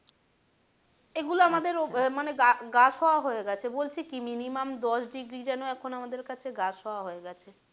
এগুলো আমাদের মানে গা শোয়া হয়ে গেছে বলছি কি minimum দশ ডিগ্রি যেন এখন আমাদের কাছে গা শোয়া হয়ে গেছে।